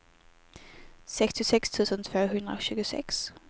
sextiosex tusen tvåhundratjugosex